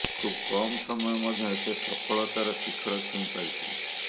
ଖୁବ କମ ସମୟ ମଧ୍ୟରେ ସେ ସଫଳତାର ଶିଖର ଛୁଇଁ ପାରିଥିଲେ